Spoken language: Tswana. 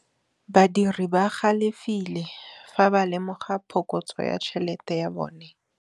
Badiri ba galefile fa ba lemoga phokotsô ya tšhelête ya bone.